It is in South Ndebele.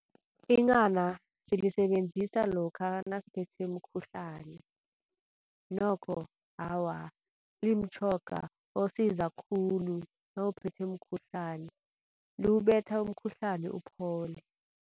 Inghana silisebenzisa lokha nasiphethwe mkhuhlani nokho, awa limtjhoga osiza khulu nawuphethwe mkhuhlani. Liwubetha umkhuhlani uphole.